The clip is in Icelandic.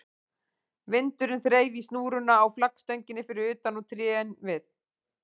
Vindurinn þreif í snúruna á flaggstönginni fyrir utan og trén við